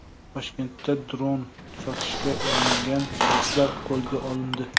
Toshkentda dron sotishga uringan shaxslar qo‘lga olindi.